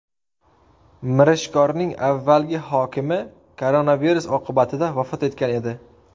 Mirishkorning avvalgi hokimi koronavirus oqibatida vafot etgan edi.